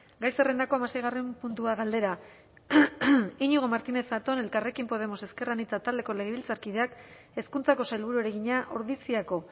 gai zerrendako hamaseigarren puntua galdera iñigo martínez zatón elkarrekin podemos ezker anitza taldeko legebiltzarkideak hezkuntzako sailburuari egina ordiziako